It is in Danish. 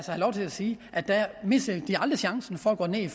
have lov til at sige missede de aldrig chancen for at gå ned i